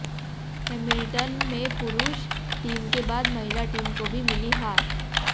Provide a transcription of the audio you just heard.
Hamilton में पुरुष team के बाद महिला टीम को भी मिली हार